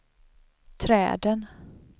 träden